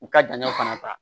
U ka dancɛ fana ta